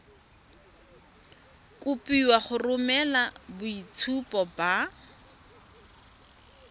kopiwa go romela boitshupo ba